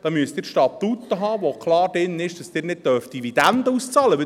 Da müssen Sie Statuten haben, in denen klar drinsteht, dass Sie keine Dividenden auszahlen dürfen.